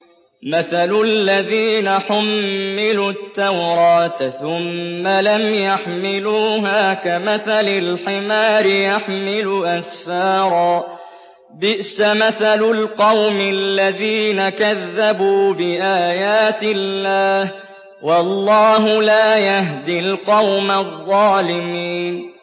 مَثَلُ الَّذِينَ حُمِّلُوا التَّوْرَاةَ ثُمَّ لَمْ يَحْمِلُوهَا كَمَثَلِ الْحِمَارِ يَحْمِلُ أَسْفَارًا ۚ بِئْسَ مَثَلُ الْقَوْمِ الَّذِينَ كَذَّبُوا بِآيَاتِ اللَّهِ ۚ وَاللَّهُ لَا يَهْدِي الْقَوْمَ الظَّالِمِينَ